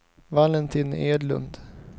Valentin Edlund